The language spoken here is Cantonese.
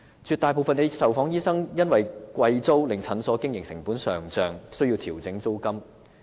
絕大部分受訪醫生因租金昂貴而令診所的經營成本上漲，需要調整診金。